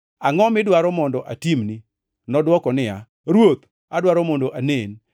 “Angʼo midwaro mondo atimni?” Nodwoko niya, “Ruoth, adwaro mondo anen.”